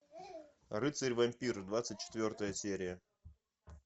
рыцарь вампир двадцать четвертая серия